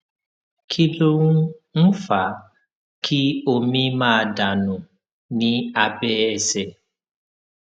kí ló ń ń fa kí omi máa dà nù ní abẹ ẹsè